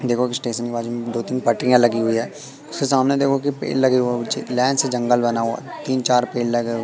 देखो कि स्टेशन के बाजू में दो तीन पटरिया लगी हुई है उसके सामने देखो कि पेड़ लगे हुए ऊंचे लाइन से जंगल बना हुआ तीन चार पेड़ लगे--